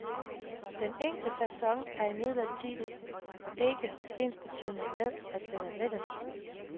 Den enkle facon er imidlertid ikke ensbetydende med, at den er let at sy.